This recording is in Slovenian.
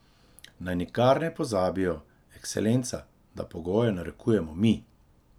Naj nikar ne pozabijo, Ekscelenca, da pogoje narekujemo mi.